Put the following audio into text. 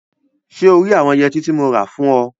So rí àwọn yẹtí tí mo rà fún ọ?